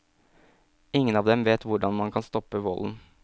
Ingen av dem vet hvordan man kan stoppe volden.